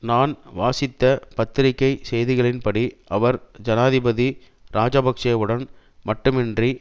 நான் வாசித்த பத்திரிகை செய்திகளின் படி அவர் ஜனாதிபதி இராஜபக்ஷவுடன் மட்டுமன்றி